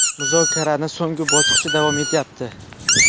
Muzokarani so‘nggi bosqichi davom etyapti.